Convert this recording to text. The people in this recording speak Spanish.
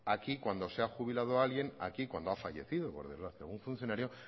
aquí cuando se ha jubilado alguien o cuando ha fallecido por desgracia un funcionario